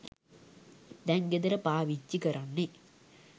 දැන් ගෙදර පාවිච්චි කරන්නේ.